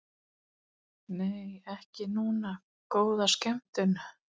Nei, ekki núna, góða skemmtun.